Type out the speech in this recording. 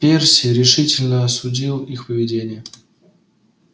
перси решительно осудил их поведение